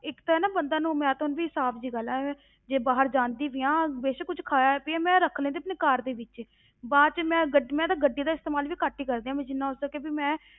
ਇੱਕ ਤਾਂ ਹੈ ਨਾ ਬੰਦਾ ਨੂੰ ਮੈਂ ਊਂ ਵੀ ਸਾਫ਼ ਜਿਹੀ ਗੱਲ ਹੈ ਐਵੇਂ ਜੇ ਬਾਹਰ ਜਾਂਦੀ ਵੀ ਹਾਂ ਬੇਸ਼ਕ ਕੁਛ ਖਾਇਆ ਪੀਇਆ, ਮੈਂ ਰੱਖ ਲੈਂਦੀ ਆਪਣੀ ਕਾਰ ਦੇ ਵਿੱਚ, ਬਾਅਦ ਵਿੱਚ ਮੈਂ ਗੱਡੀ ਮੈਂ ਤਾਂ ਗੱਡੀ ਦਾ ਇਸਤੇਮਾਲ ਵੀ ਘੱਟ ਹੀ ਕਰਦੀ ਹਾਂ ਮੈਂ ਜਿੰਨਾ ਹੋ ਸਕੇ ਵੀ ਮੈਂ